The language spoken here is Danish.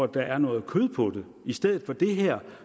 der er noget kød på i stedet for det her